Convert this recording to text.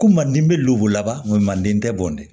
Ko madu bɛ lubo laban mande tɛ bɔn dɛ